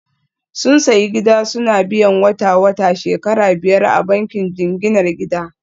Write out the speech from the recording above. Sun sayi gida suna biyan wata-wata shekara biyar a bankin jinginar gida